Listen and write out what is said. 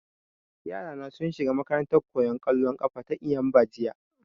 yara na sun shiga makarantan koyan kollo na eyimba jiya